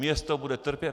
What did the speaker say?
Město bude trpět.